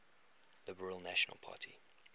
liberal national party